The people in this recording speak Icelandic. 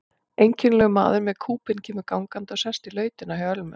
Einkennilegur maður með kúbein kemur gangandi og sest í lautina hjá Ölmu.